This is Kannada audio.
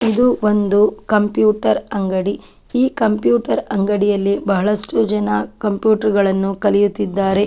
ಇದು ಒಂದು ಕಂಪ್ಯೂಟರ್ ಅಂಗಡಿ ಈ ಕಂಪ್ಯೂಟರ್ ಅಂಗಡಿಯಲ್ಲಿ ಬಹಳಷ್ಟು ಜನ ಕಂಪ್ಯೂಟರ್ ಗಳನ್ನು ಕಲಿಯುತ್ತಿದ್ದಾರೆ .